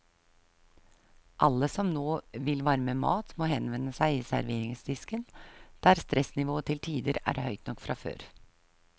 Alle som nå vil varme mat, må henvende seg i serveringsdisken, der stressnivået til tider er høyt nok fra før.